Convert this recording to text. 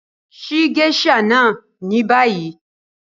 Ṣíì geisha náà ní bàyì!